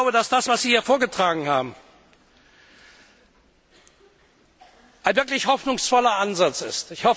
Ich glaube, dass das, was Sie hier vorgetragen haben, ein wirklich hoffnungsvoller Ansatz ist.